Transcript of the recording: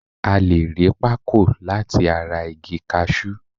A le ri Pako lati ara igi kashu